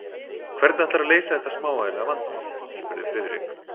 Hvernig ætlarðu að leysa þetta smávægilega vandamál? spurði Friðrik.